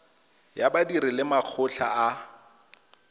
ya badiri le makgotla a